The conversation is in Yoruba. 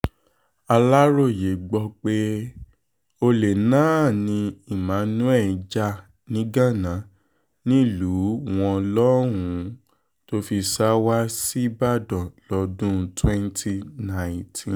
aláròye gbọ́ pé olè náà ni emmanuel já niganna nílùú wọn lọ́hùn-ún tó fi sá wa ṣíbàdàn lọ́dún twenty nineteen